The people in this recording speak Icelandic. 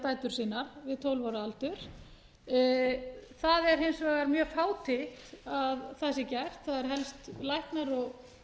dætur sínar við tólf ára aldur það er hins vegar mjög fátítt að það sé gert það eru helst læknar og